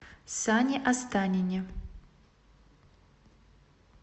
сане останине